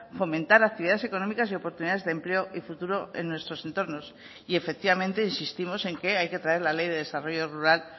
fomentar actividades económicas y oportunidades de empleo y futuro en nuestros entornos y efectivamente insistimos en que hay que traer la ley de desarrollo rural